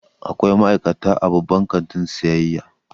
Akwai ma'aikata a babban kantin sayayya.